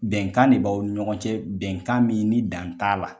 Bɛnkan ne b'aw ni ɲɔgɔn cɛ bɛnkan min ni dan t'a la.